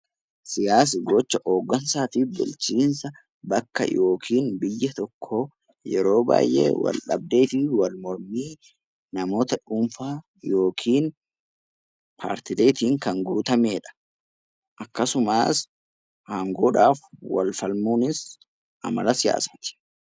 Siyaasni gocha hoggansaa fi bulchiinsa bakka yookiin biyya tokko yeroo baay'ee wal dhabdee fi wal mormii namoota dhuunfaa yookiin paartiileen kan guutamedha. Akkasumas aangoodhaaf wal falmuunis Amala siyaasaati.